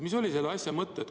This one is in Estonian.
Mis oli selle asja mõte?